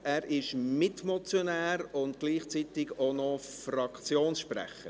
Er ist Mitmotionär und gleichzeitig Fraktionssprecher.